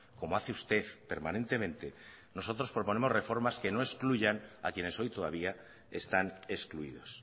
como hace usted permanentemente nosotros proponemos reformas que no excluyan a quienes hoy todavía están excluidos